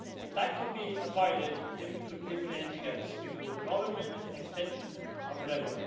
If that could be avoided, then we could live with anything else, be it a withdrawal agreement, an extension, or whatever.